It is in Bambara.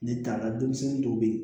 Ne taara denmisɛnnin dɔw be ye